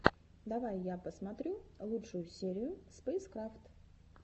давай я посмотрю лучшую серию спэйскрафт